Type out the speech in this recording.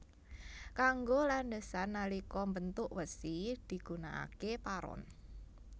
Kanggo landhesan nalika mbentuk wesi digunakaké paron